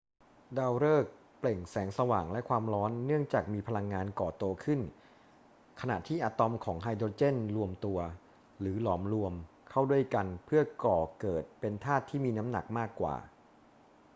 ดาวฤกษ์เปล่งแสงสว่างและความร้อนเนื่องจากมีพลังงานก่อตัวขึ้นขณะที่อะตอมของไฮโดรเจนรวมตัว หรือหลอมรวม เข้าด้วยกันเพื่อก่อเกิดเป็นธาตุที่มีน้ำหนักมากกว่า